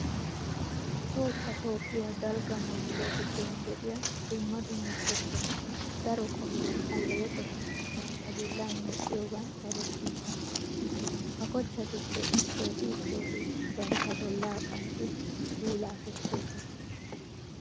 Tohossa toophphiya dalgga manttiya giddon de'iya dumma dumma kochchati daro qommo alleeqota bantta bollan medhdhiyogan erettoosona. Ha kochchatuppe issooti issooti bantta bollaa qanxxidi puulaa kessoosona.